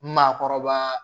Maakɔrɔba